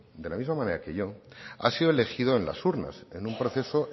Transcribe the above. de la misma manera que yo ha sido elegido en las urnas en un proceso